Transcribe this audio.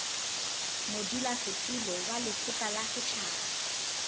modulasetulo wa lekgotla la setjhaba